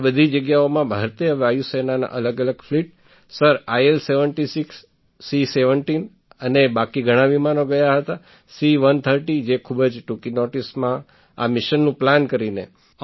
આ બધી જગ્યાઓમાં ભારતીય વાયુ સેનાના અલગઅલગ ફ્લીટ સર આઈએલ૭૬ સી૧૭ અને બાકી ઘણાં વિમાનો ગયાં હતાં સી૧૩૦ જે ખૂબ જ ટૂંકી નૉટિસમાં આ મિશનનું પ્લાન કરીને